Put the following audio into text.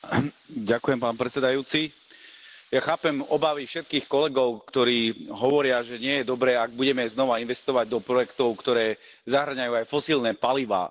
Vážený pán predsedajúci, ja chápem obavy všetkých kolegov, ktorí hovoria, že nie je dobré, ak budeme znova investovať do projektov, ktoré zahŕňajú aj fosílne palivá.